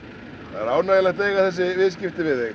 það er ánægjulegt að eiga þessi viðskipti við þig